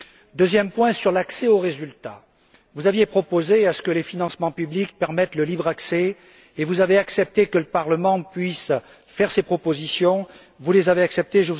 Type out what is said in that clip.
S'agissant de l'accès aux résultats, vous aviez proposé que les financements publics permettent le libre accès et vous avez accepté que le Parlement puisse faire ses propositions, que vous avez acceptées.